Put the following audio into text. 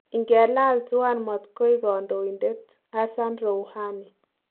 Ingelal tuan matkoik kandoindet [Hassan Rouhani}